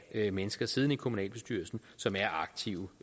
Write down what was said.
have mennesker siddende i kommunalbestyrelsen som er aktive